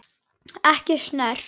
Ekki snert.